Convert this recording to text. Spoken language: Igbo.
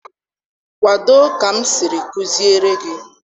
Kwado ka m siri kuziere gị